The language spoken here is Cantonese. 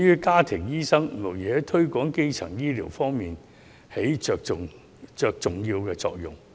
家庭醫生無疑在推廣基層醫療方面起重要的作用。